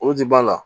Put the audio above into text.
O de b'a la